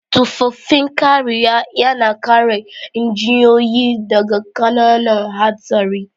Tufafin kariya yana kare injiniyoyi daga ƙananan hatsari.